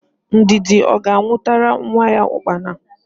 Ndidi ọ ga-anwụtara nwa ya ụkpara?